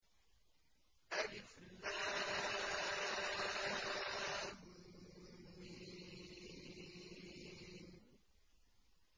الم